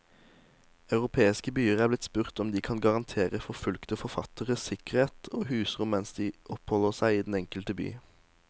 Europeiske byer er blitt spurt om de kan garantere forfulgte forfattere sikkerhet og husrom mens de oppholder seg i den enkelte by.